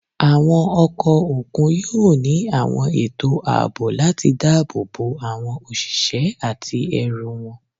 Àwọn ọkọ̀ òkun yóò ní àwọn ètò ààbò láti dáàbò bo àwọn òṣìṣẹ́ àti ẹrù wọn.